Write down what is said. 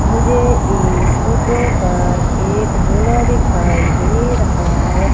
मुझे इस फोटो पर एक झोला दिखाई दे रहा है।